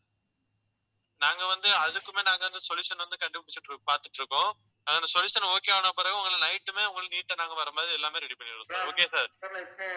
நாங்க வந்து அதுக்குமே நாங்க வந்து solution வந்து கண்டுபிடிச்சுட்டு இருக்~ பார்த்துட்டு இருக்கோம். அந்த solution okay வான பிறகு உங்களுக்கு night உமே உங்களுக்கு neat ஆ நாங்க வர்ற மாதிரி எல்லாமே ready பண்ணிருவோம் okay sir